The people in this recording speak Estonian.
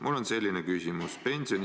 Mul on selline küsimus.